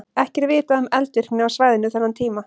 Ekki er vitað um eldvirkni á svæðinu þennan tíma.